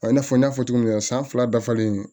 A n'a fɔ n y'a fɔ cogo min na san fila dafalen